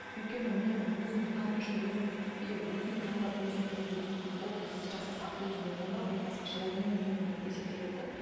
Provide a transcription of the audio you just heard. өйткені мен өзімді таныту үшін өзім егер өзім таңдап өзім тігіп өзім образ жасасам өзіме онда ол басқаша ол менің дүнием болып есептеледі де